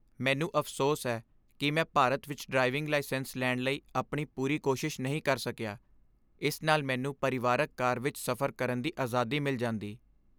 ਮੈਨੂੰ ਅਫ਼ਸੋਸ ਹੈ ਕਿ ਮੈਂ ਭਾਰਤ ਵਿੱਚ ਡਰਾਈਵਿੰਗ ਲਾਇਸੈਂਸ ਲੈਣ ਲਈ ਆਪਣੀ ਪੂਰੀ ਕੋਸ਼ਿਸ਼ ਨਹੀਂ ਕਰ ਸਕਿਆ। ਇਸ ਨਾਲ ਮੈਨੂੰ ਪਰਿਵਾਰਕ ਕਾਰ ਵਿੱਚ ਸਫ਼ਰ ਕਰਨ ਦੀ ਆਜ਼ਾਦੀ ਮਿਲ ਜਾਂਦੀ।